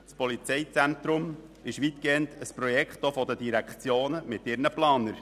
Das PZB ist weitgehend auch ein Projekt der Direktionen mit ihren Planern.